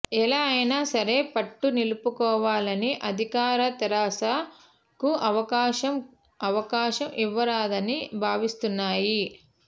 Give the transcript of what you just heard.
ఎలా అయినా సరే పట్టు నిలుపుకోవాలని అధికార తెరాస కు అవకాశం అవకాశం ఇవ్వరాదని భావిస్తున్నాయి